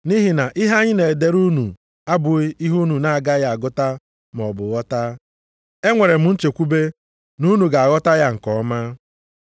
Nʼihi na ihe anyị na-edere unu abụghị ihe unu na agaghị agụta maọbụ ghọta. Enwere m nchekwube na unu ga-aghọta ya nke ọma.